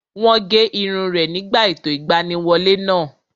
Wọ́n gé irun rẹ̀ nígbà ètò ìgbaniwọlé náà